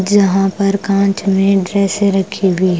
जहां पर कांच में ड्रेस रखी हुई--